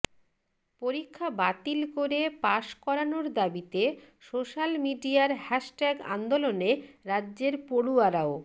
পরীক্ষা বাতিল করে পাস করানোর দাবিতে সোশাল মিডিয়ার হ্যাশট্যাগ আন্দোলনে রাজ্যের পড়ুয়ারাও